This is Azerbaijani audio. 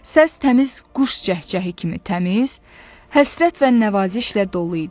Səs təmiz quş cəhcəhi kimi təmiz, həsrət və nəvazişlə dolu idi.